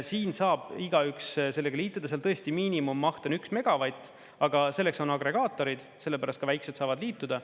Siin saab igaüks sellega liituda, seal tõesti miinimummaht on 1 megavatt, aga selleks on agregaatorid, sellepärast ka väikesed saavad liituda.